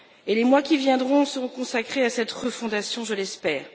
Les mois qui viendront seront consacrés à cette refondation, je l'espère.